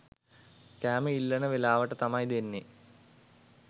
කෑම ඉල්ලන වෙලාවට තමයි දෙන්නේ.